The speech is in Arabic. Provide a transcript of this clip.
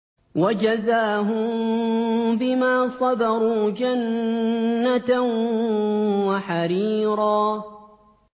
وَجَزَاهُم بِمَا صَبَرُوا جَنَّةً وَحَرِيرًا